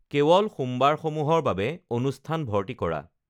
কেৱল সোমবাৰসমূহৰ বাবে অনুষ্ঠান ভৰ্তি কৰা